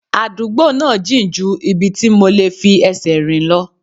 Àdúgbò náà jìn ju ibi tí mo lè fi ẹsẹ̀ rìn lọ